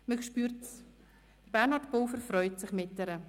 Man spürt, dass sich Bernhard Pulver mit ihr freut.